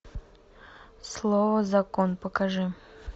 слово закон покажи